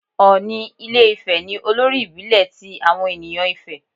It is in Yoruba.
Òni ilé Ifè ni olórí ìbílẹ̀ ti àwọn ènìyàn Ifè.